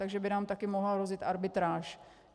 Takže by nám také mohla rozjet arbitráž.